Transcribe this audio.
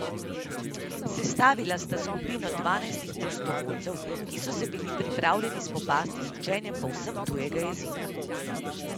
Sestavila sta skupino dvajsetih prostovoljcev, ki so se bili pripravljeni spopasti z učenjem povsem tujega jezika.